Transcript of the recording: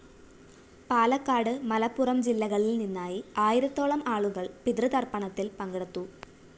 പാലക്കാട് മലപ്പുറം ജില്ലകളില്‍ നിന്നായി ആയിരത്തോളം ആളുകള്‍ പിതൃതര്‍പ്പണത്തില്‍ പങ്കെടുത്തു